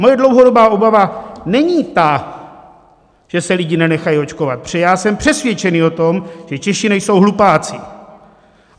Moje dlouhodobá obava není ta, že se lidé nenechají očkovat, protože já jsem přesvědčen o tom, že Češi nejsou hlupáci.